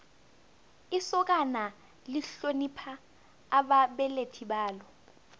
isokana lihlonipha ababelethi balo